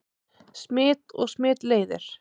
Smit og smitleiðir